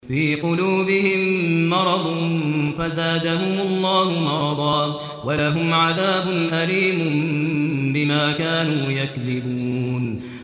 فِي قُلُوبِهِم مَّرَضٌ فَزَادَهُمُ اللَّهُ مَرَضًا ۖ وَلَهُمْ عَذَابٌ أَلِيمٌ بِمَا كَانُوا يَكْذِبُونَ